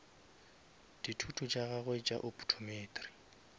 dithuto tša gagwe tša optometry